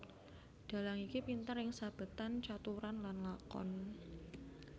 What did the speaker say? Dhalang iki pinter ing sabetan caturan lan lakon